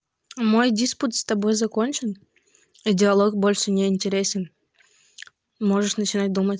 мой диспут с тобой закончен и диалог больше не интересен можешь начать думать